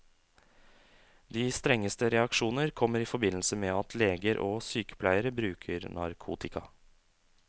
De strengeste reaksjoner kommer i forbindelse med at leger og sykepleiere bruker narkotika.